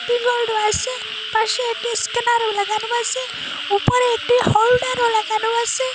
আসে পাশে একটি স্টিমারও লাগানো আসে উপরে একটি হোল্ডারও লাগানো আসে।